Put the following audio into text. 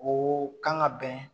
O kan ka bɛn